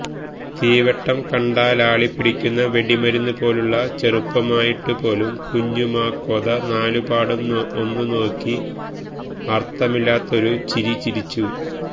തീവെട്ടം കണ്ടാലാളിപ്പിടിക്കുന്ന വെടിമരുന്നുപോലുള്ള ചെറുപ്പമായിട്ടുപോലും കുഞ്ഞുമാക്കോത നാലുപാടും ഒന്നു നോക്കി അർത്ഥമില്ലാത്തൊരു ചിര ചിരിച്ചു